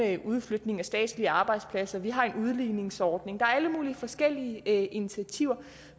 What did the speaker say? andet udflytning af statslige arbejdspladser vi har en udligningsordning der er alle mulige forskellige initiativer